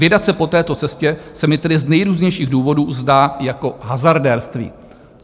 Vydat se po této cestě se mi tedy z nejrůznějších důvodů zdá jako hazardérství.